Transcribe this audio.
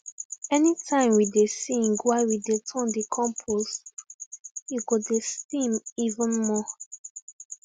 anytime we dey sing while we dey turn the compost e go dey steam even more